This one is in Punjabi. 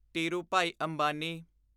ਧੀਰੂਭਾਈ ਅੰਬਾਨੀ